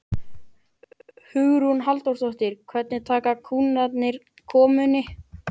Hugrún Halldórsdóttir: Hvernig taka kúnnarnir komunni?